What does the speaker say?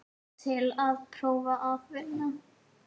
Til að prófa að vinna.